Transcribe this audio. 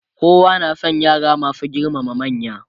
kowa na San yara masu girmama manya.